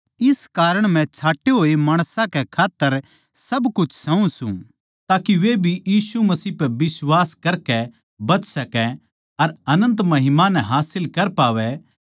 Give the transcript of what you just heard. इस कारण मै छाँटे होए माणसां कै खात्तर सब कुछ सहूँ सूं ताके वे भी मसीह पै बिश्वास करके बच सकै अर अनन्त महिमा नै हासिल कर पावैं